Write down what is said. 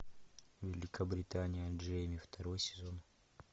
великобритания джейми второй сезон